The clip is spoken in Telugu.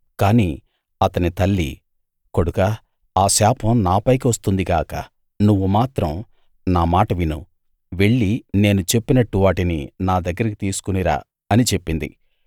కానీ అతని తల్లి కొడుకా ఆ శాపం నాపైకి వస్తుంది గాక నువ్వు మాత్రం నా మాట విను వెళ్ళి నేను చెప్పినట్టు వాటిని నా దగ్గరికి తీసుకుని రా అని చెప్పింది